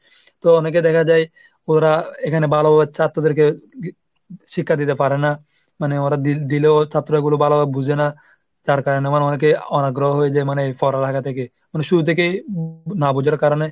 তো অনেকে দেখা যায় ওরা এখানে ভালোভাবে ছাত্রদেরকে শিক্ষা দিতে পারে না, মানে ওরা দি দিলেও ছাত্রগুলো ভালোভাবে বোঝে না। তার কারণে আমার অনেকে অনাগ্রহ হয়ে যায় মানে পড়ার এলাকা থেকে। মানে শুরু থেকেই না বুঝার কারণ